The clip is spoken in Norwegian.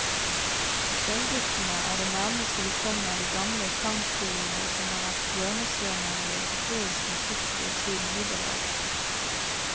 Sølvguttene er det nærmeste vi kommer de gamle sangskolene som har vært hjørnestener i europeisk musikkliv siden middelalderen.